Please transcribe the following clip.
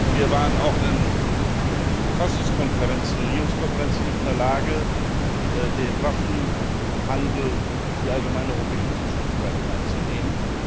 Wir waren auch in den Verfassungskonferenzen und Regierungskonferenzen nicht in der Lage, den Waffenhandel in die allgemeine europäische Zuständigkeit aufzunehmen.